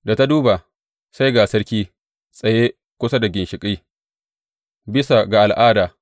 Da ta duba sai ga sarki, tsaye kusa da ginshiƙi, bisa ga al’ada.